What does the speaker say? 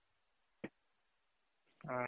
ಹ್ಮ್